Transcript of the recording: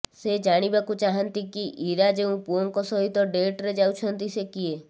ସମସ୍ତେ ଜାଣିବାକୁ ଚାହାନ୍ତି କି ଇରା ଯେଉଁ ପୁଅଙ୍କ ସହିତ ଡେଟରେ ଯାଉଛନ୍ତି ସେ କିଏ